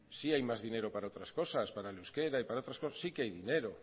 sí hay más dinero para otras cosas para el euskera y para otras cosas sí que hay dinero